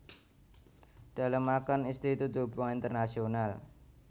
Dalemaken Institut Hubungan Internasional